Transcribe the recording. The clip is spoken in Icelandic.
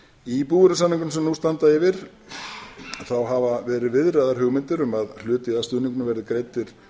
í búvörusamningunum sem nú standa yfir hafa verið viðraðar hugmyndir um að hluti af stuðningnum verði greiddur